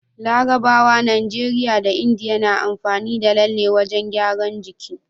Larabawa, Nigeria da India na amfani da lalle wajan gyaran jiki